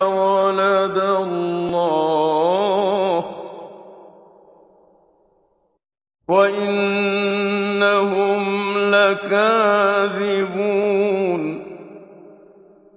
وَلَدَ اللَّهُ وَإِنَّهُمْ لَكَاذِبُونَ